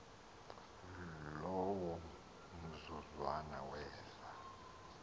lowo mzuzwana weza